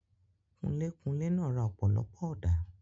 Kunlé-kunlé náà ra ọ̀pọ̀lọpọ̀ ọ̀dà.